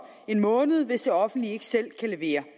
en måned hvis det offentlige ikke selv kan levere